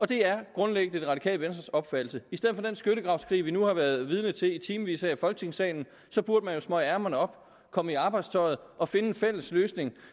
det er grundlæggende det radikale venstres opfattelse i stedet for den skyttegravskrig vi nu har været vidne til i timevis her i folketingssalen så burde man jo smøge ærmerne op komme i arbejdstøjet og finde en fælles løsning